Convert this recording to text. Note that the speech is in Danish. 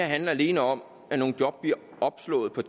handler alene om at nogle job bliver opslået på